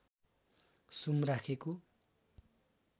सुम राखेको